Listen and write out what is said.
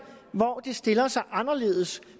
hvor det stiller sig anderledes